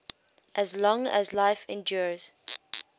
as long as life endures